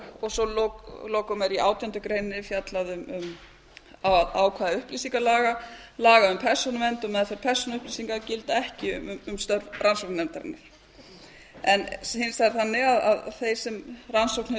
og svo að lokum er í átjándu grein fjallað um ákvæði upplýsingalaga laga um persónuvernd og meðferð persónuupplýsinga gilda ekki um störf rannsóknarnefndarinnar en hins vegar þannig að þeir sem rannsókn hefur